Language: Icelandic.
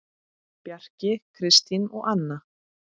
Bjarki, Kristín og Anna.